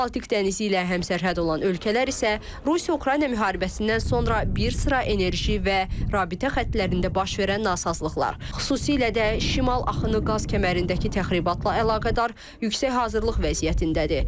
Baltik dənizi ilə həmsərhəd olan ölkələr isə Rusiya-Ukrayna müharibəsindən sonra bir sıra enerji və rabitə xəttlərində baş verən nasazlıqlar, xüsusilə də Şimal axını qaz kəmərindəki təxribatla əlaqədar yüksək hazırlıq vəziyyətindədir.